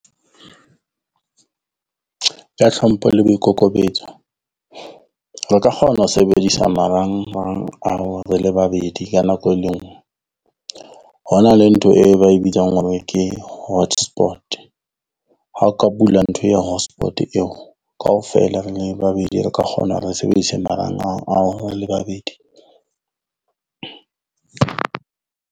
Ka hlompho le boikokobetso, re ka kgona ho sebedisa marangrang ao re le babedi ka nako e lengwe. Ho na le ntho e ba e bitsang hore ke hotspot, ha o ka bula ntho eo ya hotspot eo kaofela re le babedi re ka kgona hore re sebedise marangrang ao re le babedi.